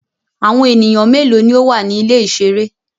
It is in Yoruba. Awọn eniyan melo ni o wa ni ile-iṣere?